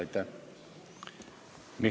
Aitäh!